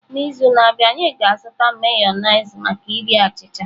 N'izu na-abịa, anyị ga-azụta Mayonezi maka iri achịcha.